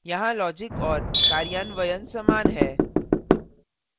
यहाँ logic और कार्यान्वयन समान है